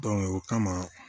o kama